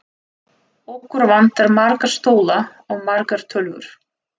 Okkur vantar marga stóla og margar tölvur.